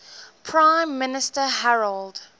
prime minister harold